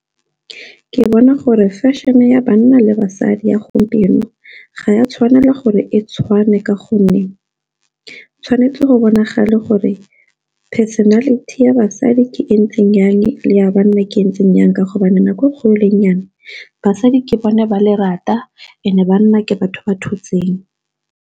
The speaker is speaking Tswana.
Ke bona gore fashion-e ya banna le basadi ya gompieno ga ya tshwanela gore e tshwane ka gonne tshwanetse go bonagala gore personality ya basadi ke ntseng jang, le ya banna ke ntseng jang, ka hobane nako e kgolo le e nyane basadi ke bone ba lerata and-e banna ke batho ba thotseng.